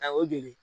Ayiwa o joli